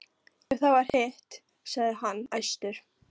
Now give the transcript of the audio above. Ef það var hitt, sagði hann æstur: